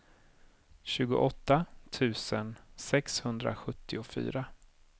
tjugoåtta tusen sexhundrasjuttiofyra